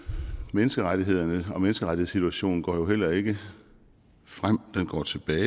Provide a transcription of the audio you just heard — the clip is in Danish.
menneskerettighederne og menneskerettighedssituationen går jo heller ikke frem den går tilbage